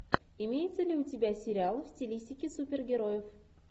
имеется ли у тебя сериал в стилистике супергероев